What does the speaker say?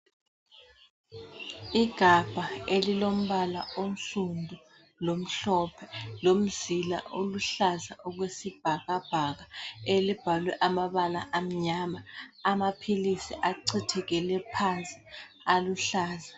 Igabha elilombala onsundu lomhlophe, lomzila oluhlaza okwesibhakabhaka, elibhalwe amabala amnyama, amaphilisi achithekele phansi aluhlaza.